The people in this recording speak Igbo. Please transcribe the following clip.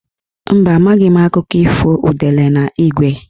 Mba, amaghị m akụkọ ifo udele na ígwé.